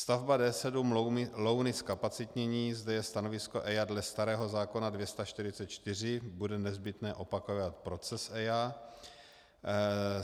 Stavba D7 Louny, zkapacitnění - zde je stanovisko EIA dle starého zákona 244, bude nezbytné opakovat proces EIA.